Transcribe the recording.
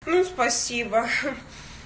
ну спасибо